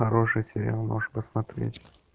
хороший сериал можешь посмотреть